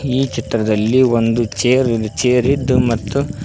ಈ ಚಿತ್ರದಲ್ಲಿ ಒಂದು ಚೇರಿ ನ್ ಚೇರ್ ಇದ್ದು--